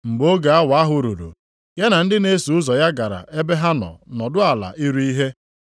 Mgbe oge awa ahụ ruru, ya na ndị na-eso ụzọ ya gara ebe ahụ nọdụ ala iri ihe.